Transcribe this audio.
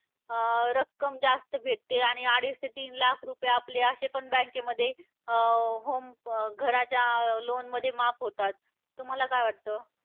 अं रक्कम जास्त भेटते आणि अडीच ते तीन लाख रुपये आपले असे पण bank मध्ये अं home घराच्या loan मध्ये माफ होतात. तुम्हाला काय वाटतं?